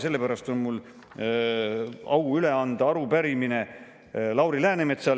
Sellepärast on mul au anda üle arupärimine Lauri Läänemetsale.